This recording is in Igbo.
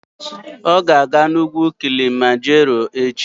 Ọ ga-aga n'ugwu Kilimanjaro echi.